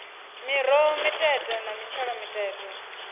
miroho mitete na mitshelo mitete